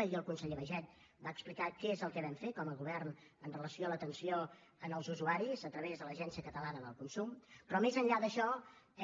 ahir el conseller baiget va explicar què és el que vam fer com a govern amb relació a l’atenció als usuaris a través de l’agència catalana del consum però més enllà d’això